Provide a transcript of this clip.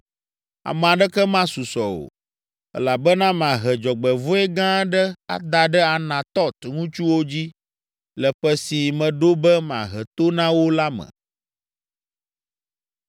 Ame aɖeke masusɔ o, elabena mahe dzɔgbevɔ̃e gã aɖe ada ɖe Anatɔt ŋutsuwo dzi le ƒe si meɖo be mahe to na wo la me.’ ”